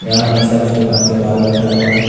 यहां एक शक्श दुकान के बाहर बैठा हुआ है।